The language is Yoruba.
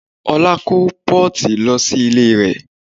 Ọlá kó pọ́ọ̀tì lọ sí ilé rẹ̀